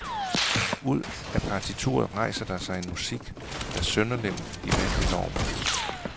Ud af partituret rejser der sig en musik, der sønderlemmer de vante normer.